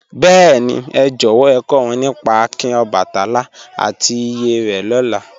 Bẹẹ̀ni, è jọ̀wọ̀ è kò wọn nípá àkìn Ọbàtálá àti ìyè re lóla